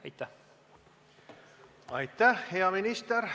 Aitäh, hea minister!